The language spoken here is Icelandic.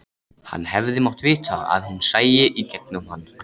Hann hefði mátt vita að hún sæi í gegnum hann.